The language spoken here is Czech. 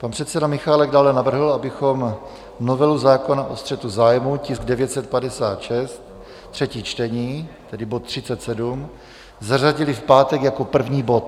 Pan předseda Michálek dále navrhl, abychom novelu zákona o střetu zájmů, tisk 956, třetí čtení, tedy bod 37, zařadili v pátek jako první bod.